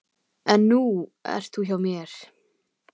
En nú ert þú hjá mér.